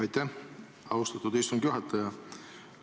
Aitäh, austatud istungi juhataja!